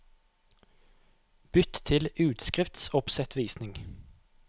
Bytt til utskriftsoppsettvisning